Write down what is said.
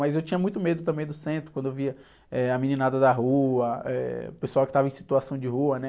Mas eu tinha muito medo também do centro, quando eu via, eh, a meninada da rua, eh, o pessoal que estava em situação de rua, né?